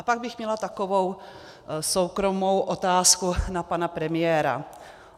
A pak bych měla takovou soukromou otázku na pana premiéra.